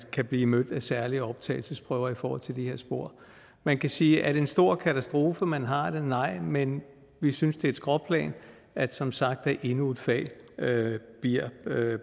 kan blive mødt af særlige optagelsesprøver i forhold til det her spor man kan sige er det en stor katastrofe at man har det nej men vi synes det er et skråplan at som sagt endnu et fag bliver